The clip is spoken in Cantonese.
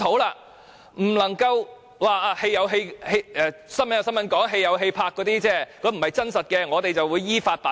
不能只說報道歸報道，拍戲歸拍戲，那些不是真實的，當局會依法辦事。